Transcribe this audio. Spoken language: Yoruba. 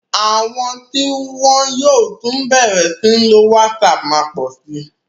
Àwọn tí wọ́n yóò tún bẹ̀rẹ̀ sí ní lo WhatsApp má pọ̀ sí.